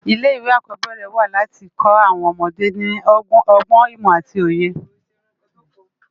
Ilé iwé ákòbèrè wá láti kò áwòn òmòdé ni ògbòn, imò áti óyé